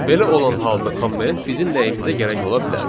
Belə olan halda komment bizə nəyimizə gərək ola bilər?